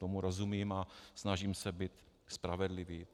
Tomu rozumím a snažím se být spravedlivý.